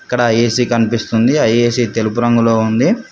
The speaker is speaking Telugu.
ఇక్కడ ఏ_సీ కనిపిస్తుంది ఆ ఏ_సీ తెలుపు రంగులో ఉంది.